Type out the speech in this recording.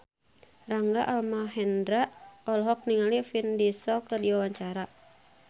Rangga Almahendra olohok ningali Vin Diesel keur diwawancara